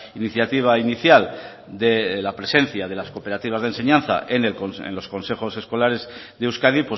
iniciativa inicial de la presencia de las cooperativas de enseñanza en los consejos escolares de euskadi